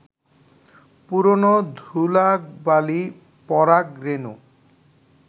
পুরনো ধুলাবালি, পরাগ রেণু